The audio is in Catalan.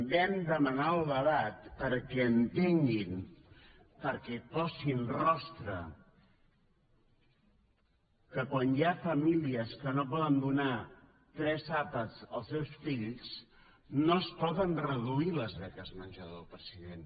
vam demanar el debat perquè entenguin perquè hi posin rostre que quan hi ha famílies que no poden donar tres àpats als seus fills no es poden reduir les beques menjador president